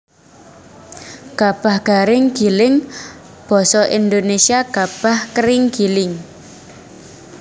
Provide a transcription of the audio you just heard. Gabah Garing Giling basa Indonesia Gabah Kering Giling